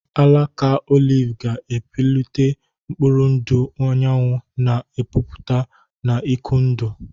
Alaka oliv ga-epulite mkpụrụ ndụ anyanwụ, na-epupụta na ike ndụ.